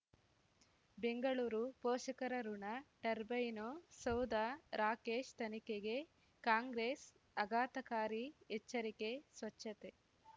ಬೆಂಗಳೂರು ಪೋಷಕರಋಣ ಟರ್ಬೈನು ಸೌಧ ರಾಕೇಶ್ ತನಿಖೆಗೆ ಕಾಂಗ್ರೆಸ್ ಅಘಾತಕಾರಿ ಎಚ್ಚರಿಕೆ ಸ್ವಚ್ಛತೆ